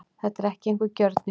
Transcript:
Þetta er ekki einhver gjörningur